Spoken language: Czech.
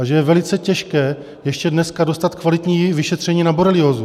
A že je velice těžké ještě dneska dostat kvalitní vyšetření na boreliózu.